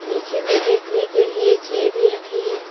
नीचे में बैठने के लिए चेयर भी रखी है।